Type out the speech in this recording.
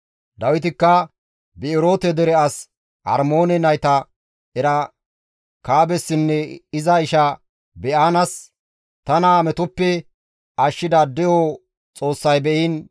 Dawitikka Bi7eroote dere as Armoone nayta Erekaabessinne iza isha Ba7aanas, «Tana metoppe ashshida De7o Xoossay be7iin,